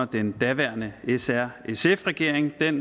den daværende s r sf regering